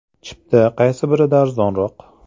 Chipta qaysi birida arzonroq?